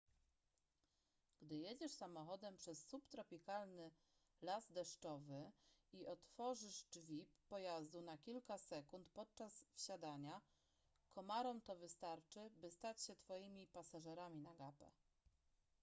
gdy jedziesz samochodem przez subtropikalny las deszczowy i otworzysz drzwi pojazdu na kilka sekund podczas wsiadania komarom to wystarczy by stać się twoimi pasażerami na gapę